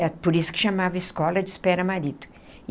É por isso que chamava escola de espera marido.